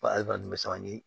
bɛ san ni